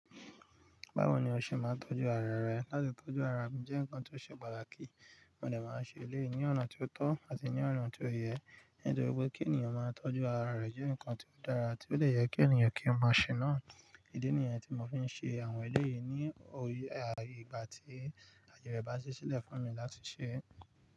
Báwo ni o ṣe máa ń tọ́jú ara rẹ láti tọ́jú ara jẹ́ nǹkan tó ṣe pàtàkì, mo dè máa n ṣe eléyìí ní ọ̀nà tí ó tó àti ní ọ̀nà tí ó yẹ, nítorí wípé kí ènìyàn máa tọ́jú ara rẹ jẹ́ nǹkan tí ó dára tí ó de yẹ kí ènìyàn kí ó máa ṣe náà. Ìdí nìyẹn tí mò ń fi n ṣe àwọn eléyìí ní ìgbà tí, aye re bá ṣí sílẹ̀ fún mi láti ṣe.